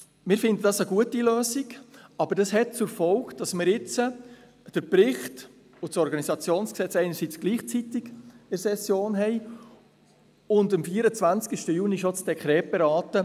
Wir finden es eine gute Lösung, aber es hat zur Folge, dass wir jetzt einerseits den Bericht und das OrG gleichzeitig in der Session haben und dass wir am 24. Juni schon das Dekret beraten.